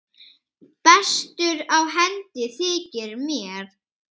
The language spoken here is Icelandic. Bestur á hendi þykir mér.